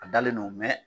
A dalen don mɛ